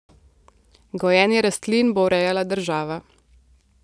Gojenje rastlin bo urejala država.